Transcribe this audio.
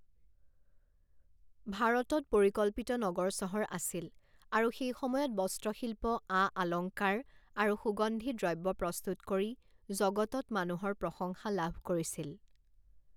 ভাৰতত পৰিকল্পিত নগৰ চহৰ আছিল আৰু সেই সময়ত বস্ত্ৰ শিল্প আআলংকাৰ আৰু সুগন্ধি দ্ৰব্য প্ৰস্তুত কৰি জগতত মানুহৰ প্ৰশংসা লাভ কৰিছিল।